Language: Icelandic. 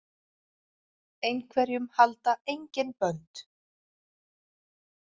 Einhverjum halda engin bönd